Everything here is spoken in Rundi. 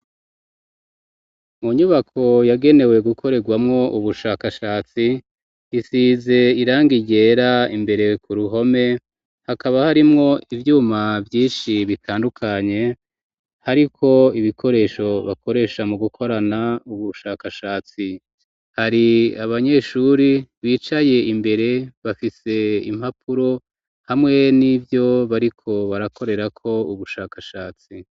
mu nyubako yagenewe gukorerwamo ubushakashatsi isize irangi ryera imbere ku ruhome hakaba harimwo ivyuma vyinshi bitandukanye hariko ibikoresho bakoresha mu gukorana ubushakashatsi hari abanyeshuri bicaye imbere bafise impapuro hamwe n'ibyo bariko barakorera ko ubushakashatsi.